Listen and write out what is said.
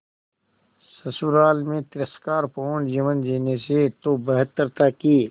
ससुराल में तिरस्कार पूर्ण जीवन जीने से तो बेहतर था कि